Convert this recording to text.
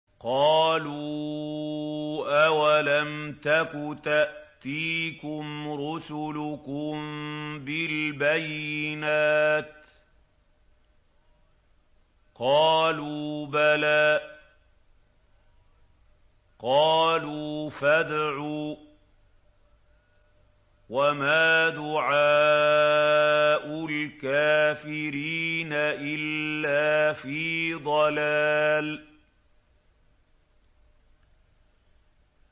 قَالُوا أَوَلَمْ تَكُ تَأْتِيكُمْ رُسُلُكُم بِالْبَيِّنَاتِ ۖ قَالُوا بَلَىٰ ۚ قَالُوا فَادْعُوا ۗ وَمَا دُعَاءُ الْكَافِرِينَ إِلَّا فِي ضَلَالٍ